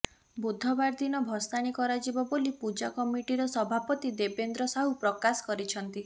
ବୁଧବାର ଦୀନ ଭଷାଣୀ କରାଯିବ ବୋଲି ପୂଜା କମିଟିର ସଭାପତି ଦେବେନ୍ଦ୍ର ସାହୁ ପ୍ରକାଶ କରିଛନ୍ତି